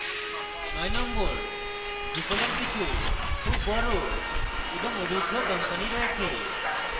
number 9: drupal এর কিছু খুব বড় এবং অভিজ্ঞ কোম্পানি রয়েছে